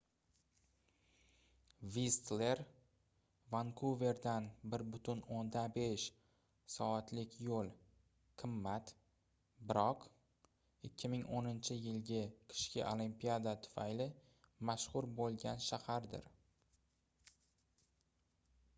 vistler vankuverdan 1,5 soatlik yo'l qimmat biroq 2010-yilgi qishki olimpiada tufayli mashhur bo'lgan shahardir